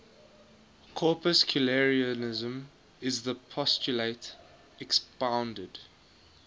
corpuscularianism is the postulate expounded